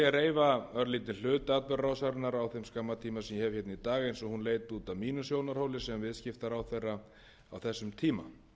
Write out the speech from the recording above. reifa örlítið hluta atburðarásarinnar á þeim skamma tíma sem ég í dag eins og hún leit út frá mínum sjónarhóli sem viðskiptaráðherra á þessum tíma